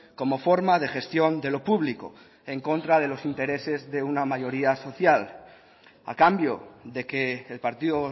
como forma de gestión de lo público en contra de los intereses de una mayoría social a cambio de que el partido